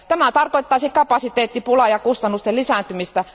Tämä tarkoittaisi kapasiteettipulaa ja kustannusten lisääntymistä.